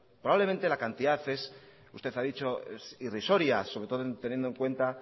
probablemente la cantidad es usted ha dicho irrisoria sobre todo teniendo en cuenta